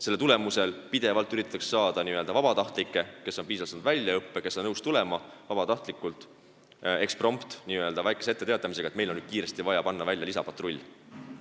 Selle tõttu üritatakse pidevalt leida vabatahtlikke, kes on saanud piisava väljaõppe ja on nõus tulema n-ö eksprompt, lühikese etteteatamisajaga, kui on vaja kiiresti lisapatrulli.